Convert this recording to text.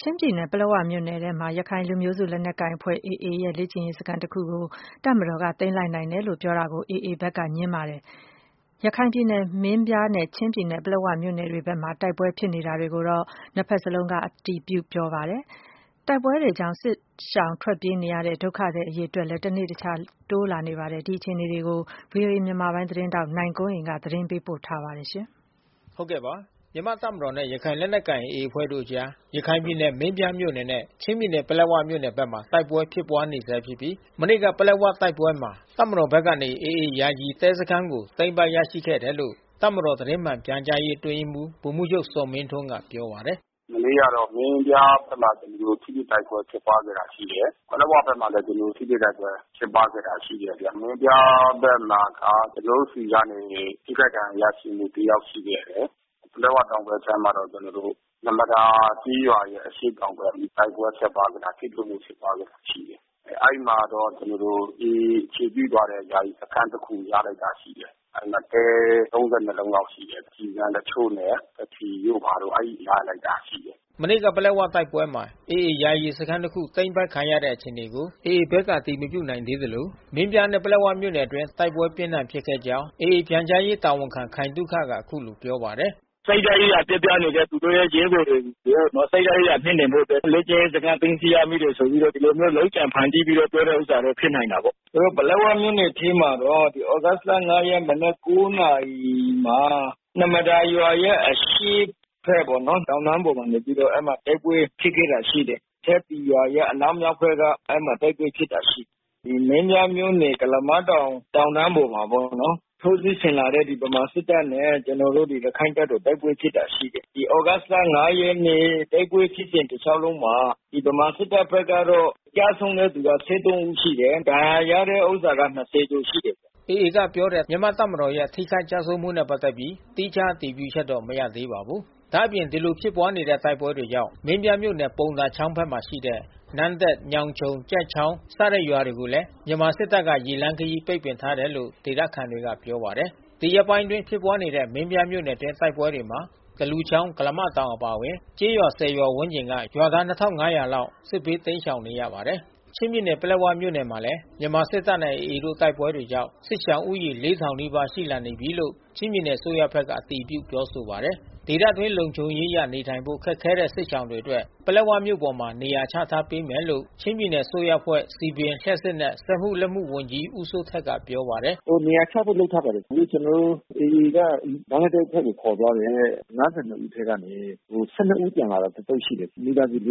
ချင်းပြည်နယ်၊ ပလက်ဝမြို့နယ်ထဲမှာ ရခိုင်လူမျိုးစုလက်နက်ကိုင်အဖွဲ့ AA ရဲ့ လေ့ကျင့်ရေးစခန်းတခုကို တပ်မတော်က သိမ်းလိုက်နိုင်တယ်လို့ ပြောတာကို AA ဘက်ကငြင်းပါတယ်။ ရခိုင်ပြည်နယ်၊ မင်းပြားနဲ့ ချင်းပြည်နယ်၊ ပလက်ဝမြို့နယ်တွေ ဘက်မှာ တိုက်ပွဲဖြစ်တာတွေကိုတော့ နှစ်ဘက်စလုံးက အတည်ပြု ပြောဆိုပါတယ်။ တိုက်ပွဲတွေကြောင့် စစ်ရှောင်ထွက်ပြေးရတဲ့ ဒုက္ခသည်အရေအတွက်လည်း တနေ့တခြား တိုးလာနေပါတယ်။ ဒီအခြေအနေတွေကို ဗွီအိုအေ မြန်မာပိုင်းသတင်းထောက် နိုင်ကွန်းအိမ်က သတင်းပေးပို့ထားပါတယ်။ မြန်မာ့တပ်မတော်နဲ့ ရခိုင်လက်နက်ကိုင်AAအဖွဲ့တို့အကြား ရခိုင်ပြည်နယ်မင်းပြားမြို့နယ်နဲ့ချင်းပြည်နယ် ပလက်၀ မြို့နယ်ဖက်မှာ တိုက်ပွဲဖြစ်ပွားနေဆဲဖြစ်ပြီး မနေ့ကပလက်ဝတိုက်ပွဲမှာ တပ်မတော်ဖက်ကနေ AAယာယီတဲစခန်းကို သိမ်းပိုက်ရရှိခဲ့တယ်လို့ တပ်မတော်သတင်းမှန်ပြန်ကြားရေးအတွင်းရေးမှူးဗိုလ်မှူးချုပ်ဇော်မင်းထွန်းကပြောပါတယ်။ “မနေ့က မင်းပြားဖက်မှာတော့ ထိတွေ့တိုက်ပွဲဖြစ်ခဲ့တာရှိတယ်။ ပလက်ဝမြို့မှာလဲကျွန်တော်တို့ ထိတွေ့တိုက်ပွဲဖြစ် ပွားခဲ့တာရှိတယ်။ မင်းပြားဖက်မှာက ကျွန်တော်တို့ဆီကနေ ထိခိုက်ဒဏ်ရာရရှိမှုတယောက်ရှိခဲ့တယ်။ ပလက်ဝတောင် ဖက်ခြမ်းမှာတော့ ကျွန်တော်တို့ နှမဒါကျေးရွာရဲ့အရှေ့တောင်ဖက် တိုက်ပွဲဖြစ်ခဲ့တာ ထိတွေ့မှုဖြစ်ပွားခဲ့တာရှိတယ်။ အဲဒီမှာတော့ကျွန်တော်တို့ AAအခြေပြုထားတဲ့ ယာယီစခန်းတခုရလိုက်တာရှိတယ်။ အဲဒီမှာတဲ လုံးလောက်ရှိတယ်။ ကျည်ဆံတချို့နဲ့ဘက္ထရီတို့ဘာတို့ အဲဒီရလိုက်တာရှိတယ်။” မနေ့က ပလက်ဝတိုက်ပွဲမှာ AAယာယီစခန်းတခု သိမ်းပိုက်ခံရတဲ့အခြေအနေကို AAဖက်ကအတည်မပြုနိုင်သေးသလို မင်းပြားနဲ့ပလက်ဝမြို့နယ်အတွင်းတိုက်ပွဲပြင်းထန်ဖြစ်ခဲ့ကြောင်း AAပြန်ကြားရေးတာဝန်ခံခိုင်သုခက အခုလိုပြော ပါတယ်။ “စိတ်ဓါတ်ရေးရာပျက်ပြားနေတဲ့ သူတို့ရဲ့ရဲဘော်တွေကို စိတ်ဓါတ်ရေးရာမြှင့်တင်ဖို့အတွက် လေ့ကျင့်ရေးစခန်း သိမ်း ဆီးရမိတယ်ဆိုပြီးတော့ ဒီလိုမျိုးလုပ်ကြံဖန်တီးပြီးတော့ ပြောတဲ့ဥစ္စာတော့ဖြစ်နိုင်တာပေါ့။ ပလက်ဝမြို့နယ်ထဲမှာတော့ သြဂုတ်လ ရက်မနက် နာရီမှာ နှမဒါရွာရဲ့အရှေ့ဖက်ပေါ့နော် တောင်တန်းပေါ်နေပြီးတော့ တိုက်ပွဲဖြစ်ပွားခဲ့ တာရှိ တယ်။ အထက်ပီရွာရဲ့အနောက်မြောက်ဖက်က အဲဒီမှာတိုက်ပွဲဖြစ်ပွားခဲ့တာရှိတယ်။ ဒီမင်းပြား မြို့နယ်ကုလးမတောင် တောင်တန်းပေါ်မှာပေါ့နော် ထိးစစ်ဆင်လာတဲ့ဗမာစစ်တပ်နဲ့ ကျွန်တော်တို့ ရခိုင်တပ်တော် တိုက်ပွဲဖြစ်ပွားခဲ့တာရှိတယ်။ ဒီသြဂုတ်လ ရက်နေ့တိုက်ပွဲဖြစ်စဉ်တလျှောက်လုံးမှာ ဗမာစစ်တပ်ဖက်ကတော့ ကျဆုံးတဲ့သူ ဦးရှိတယ်။ ဒဏ်ရာရတဲ့သူ ကျော်ရှိတယ်။” AA ကပြောတဲ့ မြန်မာ့တပ်မတော်ရဲ့ ထိခိုက် ကျဆုံးမှုနဲ့ပတ်သက်ပြီး သီးခြားအတည်ပြုချက်တော့ မရသေးပါဘူး။ ဒါ့အပြင်ဒီလိုဖြစ်ပွားတဲ့တိုက်ပွဲတွေကြောင့် မင်းပြားမြို့နယ်ပုံသာချောင်းဖက်မှာရှိတဲ့ နန်းတက် ညောင်ခြုံ ကျိုက်ချောင်း စတဲ့ရွာတွေကိုလဲ မြန်မာစစ်တပ်က ရေလမ်းခရီးပိတ်ပင်ထားတယ်လို့ ဒေသခံတွေကပြောပါတယ်။ ဒီရက်ပိုင်းအတွင်းဖြစ်ပွားနေတဲ့ မင်းပြားမြို့နယ်အတွင်းတိုက်ပွဲတွေမှာ သလူချောင်း ကုလားမတောင်အပါဝင် ကျေးရွာ ရွာဝန်းကျင်က ရွာသား လောက်ဟာ စစ်ဘေးတိမ်းရှောင်နေရပါတယ်။ ချင်းပြည်နယ်၊ ပလက်ဝမြို့နယ်မှာလဲ မြန်မာစစ်တပ်နဲ့AAတို့တိုက်ပွဲတွေကြောင့် စစ်ရှောင်ဦးရေ နီးပါးရှိလာ နေတယ်လို့ ချင်းပြည်နယ်အစိုးရဖက်ကအတည်ပြုပြောဆိုပါတယ်။ ဒေသအတွင်း လုံခြုံရေးအရနေထိုင်ဖို့ ခက်ခဲတဲ့စစ်ရှောင်တွေအတွက် ပလက်ဝမြို့ပေါ်မှာ နေရာချထားပေးမယ်လို့ ချင်းပြည်နယ်အစိုးရအဖွဲ့ စည်ပင် လျှပ်စစ်နှင့် စက်မှုလက်မှုဝန်ကြီး ဦးစိုးထက်ကပြောပါတယ်။ “နေရာချဖို့လုပ်ထားပါတယ်။ အခု AAက ဘင်္ဂလားဒေ့ကိုခေါ်သွားတဲ့ ဦးထဲကနေ ဦးပြန်လာတာတသုတ် ရှိတယ်။ မိသားစု စုပေါ့။ အဲဒီ